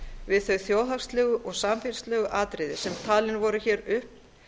við þau þjóðhagslegu og samfélagslegu atriði sem talin voru hér upp